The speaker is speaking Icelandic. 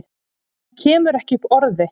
Hann kemur ekki upp orði.